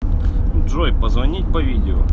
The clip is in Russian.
джой позвонить по видео